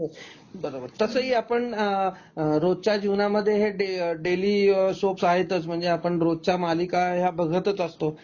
हो, तसं ही आपण अ रोजच्या जीवनामध्ये हे डेली अ डेली सोप आहेतच म्हणजे आपण रोजच्या मालिका ह्या बघतच असतो